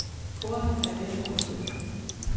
Kornet er ved at drysse.